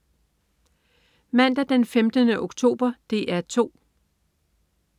Mandag den 15. oktober - DR 2: